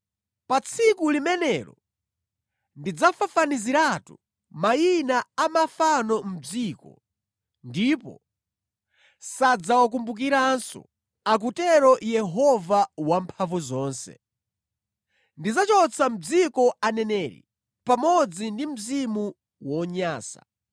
“Pa tsiku limenelo, ndidzafafaniziratu mayina a mafano mʼdziko, ndipo sadzawakumbukiranso,” akutero Yehova Wamphamvuzonse. “Ndidzachotsa mʼdziko aneneri pamodzi ndi mzimu wonyansa.